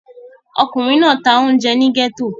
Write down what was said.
Ọkùnrin náà ń ta oúnjẹ ní gẹ́tò.